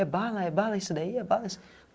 É bala, é bala isso daí, é bala.